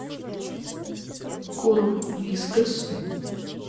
корм вискас